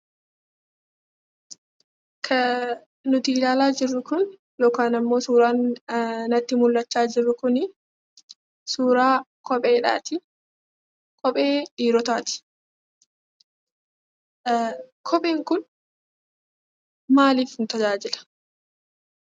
Kan nuti ilaalaa jirru Kun, yookaan ammoo suuraan natti mul'achaa jiru Kun suuraa kopheedhaati. Kophee dhiirotaati. Kopheen Kun, maaliif nu tajaajila?